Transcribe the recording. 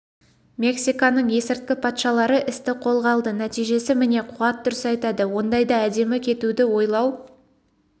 мексиканың есірткі патшалары істі қолға алды нәтижесі міне қуат дұрыс айтады ондайда әдемі кетуді ойлау